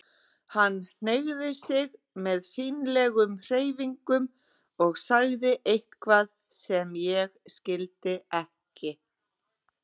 Hann hneigði sig með fínlegum hreyfingum og sagði eitthvað sem ég skildi ekki.